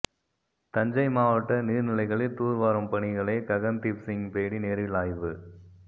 தஞ்சை மாவட்ட நீர்நிலைகளில் தூர்வாரும் பணிகளை ககன்தீப்சிங் பேடி நேரில் ஆய்வு